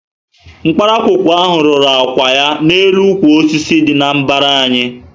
Nkparakwukwu ahụ rúrú ákwà ya na élú ukwu osisi dị na mbara anyị